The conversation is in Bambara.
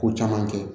Ko caman kɛ